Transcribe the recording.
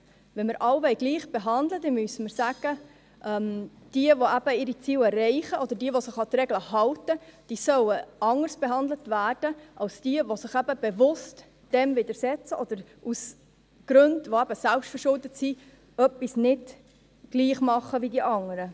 Wenn wir alle gleich behandeln wollen, müssen wir sagen, dass jene, die ihre Ziele erreichen – jene die sich an die Regeln halten –, anders behandelt werden sollen als jene, die sich dem bewusst widersetzen oder aus Gründen, die selbstverschuldet sind, etwas nicht gleich machen wie die anderen.